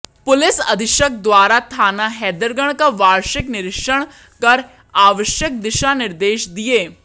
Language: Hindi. पुलिस अधीक्षक द्वारा थाना हैदरगढ़ का वार्षिक निरीक्षण कर आवश्यक दिशा निर्देश दिए